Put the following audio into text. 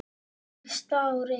Fyrsta árið.